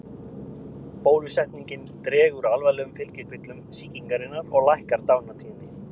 Bólusetningin dregur úr alvarlegum fylgikvillum sýkingarinnar og lækkar dánartíðni.